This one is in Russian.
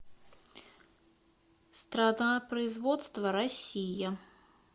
страна производства россия